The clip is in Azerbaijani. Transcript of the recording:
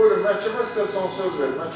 Buyurun, məhkəmə sizə son söz verir.